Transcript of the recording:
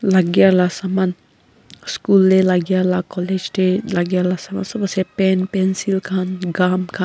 lagea la saman school de lagea la college de lagea la saman sob ase pen pencil kan gum kan.